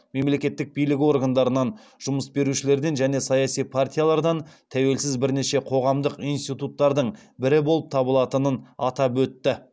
мемлекеттік билік органдарынан жұмыс берушілерден және саяси партиялардан тәуелсіз бірнеше қоғамдық институттардың бірі болып табылатынын атап өтті